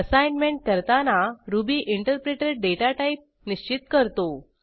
assignment करताना Ruby interpreter data type निश्चित करतो